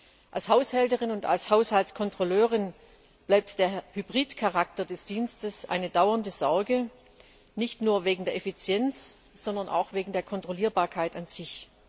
Für mich als Haushälterin und als Haushaltskontrolleurin bleibt der Hybridcharakter des Dienstes eine dauernde Sorge, nicht nur wegen der Effizienz, sondern auch wegen der Kontrollierbarkeit an sich.